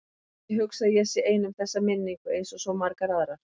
Já, ég hugsa að ég sé ein um þessa minningu einsog svo margar aðrar.